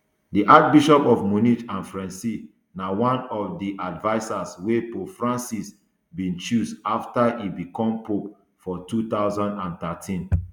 di archbishop of munich and freising na one of di advisers wey pope francis bin choose afta e bicom pope for two thousand and thirteen